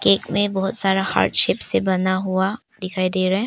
Cake में बहुत सारा हार्टशेप से बना हुआ दिखाई दे रहा है।